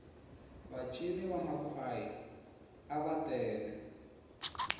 va cini va makhwaya ava tele